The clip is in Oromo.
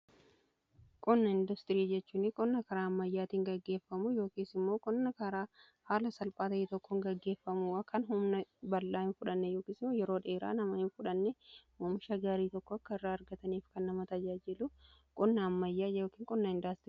Qonna industiriii jechuun qonna karaa ammayyaatiin gaggeeffamu yookiis immoo qonna karaa haala salphaa ta'e tokkoon gaggeeffamu kan humna bal'aa hin fudhanne yookiin yeroo dheeraa nama hin fudhanne oomisha gaarii tokko akka irraa argataniif kan nama tajaajiilu qonna ammayyaa qonnaa indastirii jedhama.